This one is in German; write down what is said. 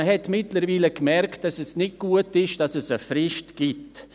Man hat mittlerweile gemerkt, dass es nicht gut ist, dass es eine Frist gibt.